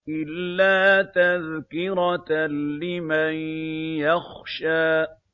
إِلَّا تَذْكِرَةً لِّمَن يَخْشَىٰ